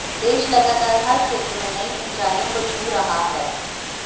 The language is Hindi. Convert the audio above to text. देश लगातार हर क्षेत्र में नई ऊंचाईयों को छू रहा है